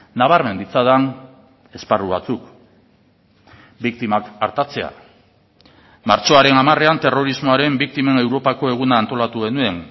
nabarmen ditzadan esparru batzuk biktimak artatzea martxoaren hamarean terrorismoaren biktimen europako eguna antolatu genuen